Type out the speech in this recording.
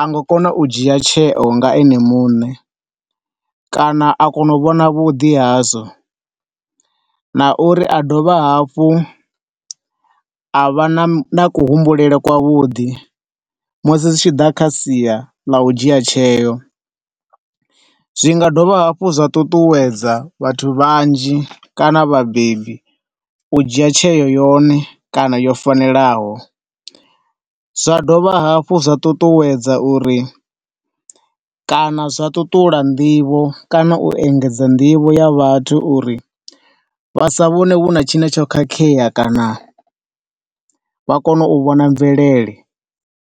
anga kona u dzhia tsheo nga ene muṋe kana a kono vhona vhuḓi hazwo, na uri a dovha hafhu a vha na kuhumbulele kwa vhuḓi musi zwi tshi ḓa kha sia ḽa u dzhia tsheo. Zwi nga dovha hafhu zwa ṱuṱuwedza vhathu vhanzhi kana vhabebi u dzhia tsheo yone kana yo fanelaho. Zwa dovha hafhu zwa ṱuṱuwedza uri, kana zwa ṱuṱula nḓivho kana u engedza nḓivho ya vhathu uri vha sa vhone huna tshine tsho khakheya kana vha kone u vhona mvelele.